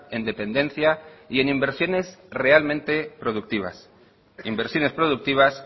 en dependencia y en inversiones realmente productivas en inversiones productivas